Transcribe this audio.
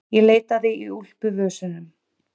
Ég leitaði í úlpuvösunum.